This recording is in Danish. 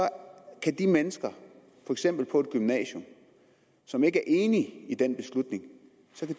kan de mennesker for eksempel på et gymnasium som ikke er enige i den beslutning